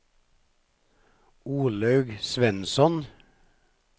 Olaug Svensson